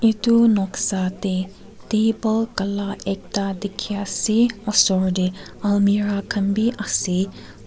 itu noksa tey table kala ekta dikhi ase osor dey almirah khan bi ase--